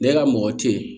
Ne ka mɔgɔ te yen